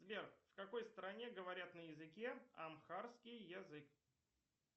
сбер в какой стране говорят на языке амхарский язык